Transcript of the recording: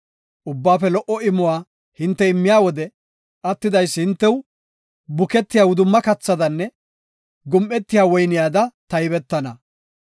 Ubbaafe lo77o imuwa hinte immiya wode attidaysi hintew buketiya wudumma kathaadanne gum7etiya woyniyada taybetana.